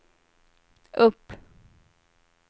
upp